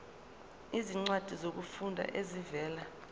izincwadi zokufunda ezivela